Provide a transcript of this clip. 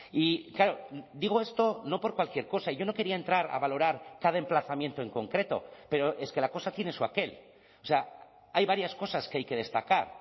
y claro digo esto no por cualquier cosa yo no quería entrar a valorar cada emplazamiento en concreto pero es que la cosa tiene su aquel o sea hay varias cosas que hay que destacar